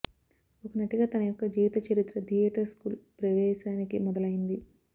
ఒక నటిగా తన యొక్క జీవితచరిత్ర థియేటర్ స్కూల్ ప్రవేశానికి మొదలైంది